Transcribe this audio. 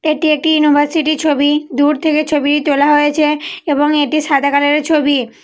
এটি একটি ইউনিভার্সিটি ছবি। দূর থেকে ছবি তোলা হয়েছে এবং এটি সাদা কালারের ছবি।